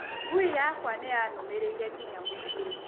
Ngui yakwa nĩ yanũmĩrĩire nginya mũciĩ.